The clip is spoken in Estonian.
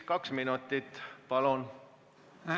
Kaks minutit, palun!